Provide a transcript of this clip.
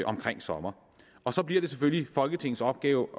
omkring sommer og så bliver det selvfølgelig folketingets opgave